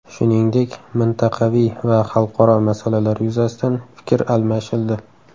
Shuningdek, mintaqaviy va xalqaro masalalar yuzasidan fikr almashildi.